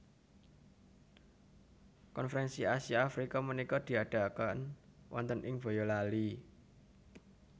Konferensi Asia Afrika menika diadaaken wonten ing Boyolali